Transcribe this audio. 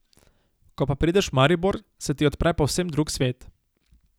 Ko pa prideš v Maribor, se ti odpre povsem drug svet.